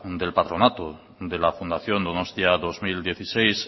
del patronato de la fundación donostia dos mil dieciséis